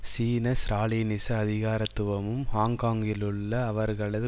சீன ஸ்ராலினிச அதிகாரத்துவமும் ஹாங்காங்கிலுள்ள அவர்களது